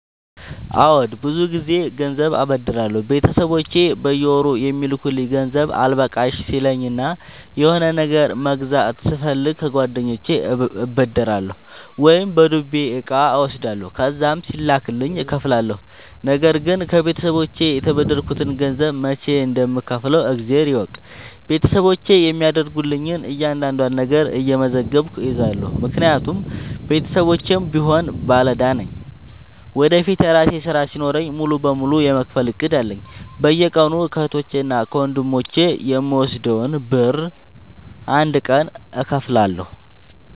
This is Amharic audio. አዎድ ብዙ ግዜ ገንዘብ አበደራለሁ ቤተሰቦቼ በየወሩ የሚልኩልኝ ገንዘብ አልበቃሽ ሲለኝ እና የሆነ ነገር መግዛት ስፈልግ ከጓደኞቼ እበደራለሁ። ወይም በዱቤ እቃ እወስዳለሁ ከዛም ሲላክልኝ እከፍላለሁ። ነገርግን ከቤተሰቦቼ የተበደርከትን ገንዘብ መች እንደም ከውፍለው እግዜር ይወቅ ቤተሰቦቼ የሚያደርጉልኝን እያንዳዷን ነገር እየመዘገብኩ እይዛለሁ። ምክንያቱም ቤተሰቦቼም ቢሆኑ ባለዳ ነኝ ወደፊት የራሴ ስራ ሲኖረኝ ሙሉ በሙሉ የመክፈል እቅድ አለኝ። በየቀኑ ከህቶቼ እና ከወንድሞቼ የምወስደውን ብር አንድ ቀን እከፍላለሁ።